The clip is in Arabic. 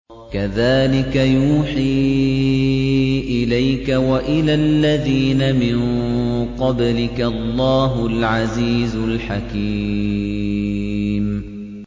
كَذَٰلِكَ يُوحِي إِلَيْكَ وَإِلَى الَّذِينَ مِن قَبْلِكَ اللَّهُ الْعَزِيزُ الْحَكِيمُ